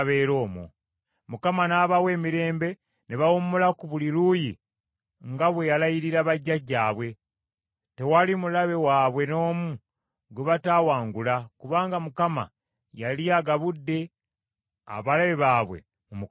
Mukama n’abawa emirembe ne bawummula ku buli luuyi nga bwe yalayirira bajjajjaabwe, tewali mulabe waabwe n’omu gwe bataawangula kubanga Mukama yali agabudde abalabe baabwe mu mukono gwabwe.